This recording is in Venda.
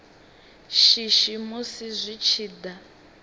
shishi musi zwi tshi da